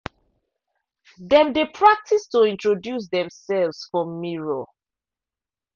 dem dey practice to introduce themselves for mirror.